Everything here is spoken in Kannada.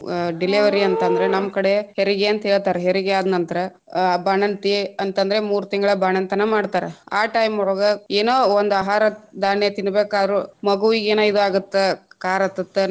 delivery ಅಂತಂದ್ರ ನಮ್ಮ ಕಡೆ ಹೆರಿಗೆ ಅಂತ ಹೇಳ್ತಾರ ಹೆರಿಗೆ ಆದ್ನಂತ್ರ ಆ ಬಾಣಂತಿ ಅಂತಂದ್ರೆ ಮೂರ್ ತಿಂಗಳ ಬಾಣಂತನ ಮಾಡ್ತಾರ ಆ time ಒಳಗ ಏನ ಒಂದ ಆಹಾರ ಧಾನ್ಯ ತಿನ್ನಬೇಕಾದ್ರು ಮಗುವಿಗಯೇನ ಇದ್ ಆಗತ್ತ ಕಾರಹತ್ತತ್ತ.